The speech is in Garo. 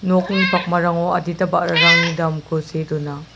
nokni pakmarango adita ba·rarangni damko see dona.